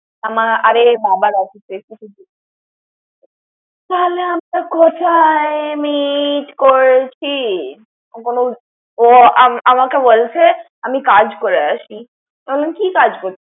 আমা আরে বাবার থালে আমরা কথায় meet করছি? ও আম আমাকে বলছে আমি কাজ করে আসি। আমি কি কাজ করবি?